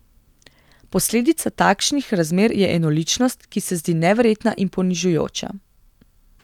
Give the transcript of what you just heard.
Posledica takšnih razmer je enoličnost, ki se zdi neverjetna in ponižujoča.